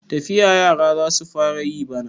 Tafiya yara za su fara yi bana.